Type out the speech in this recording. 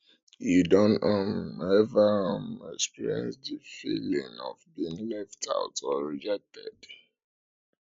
you don um ever um experience di feeling of being left um out or rejected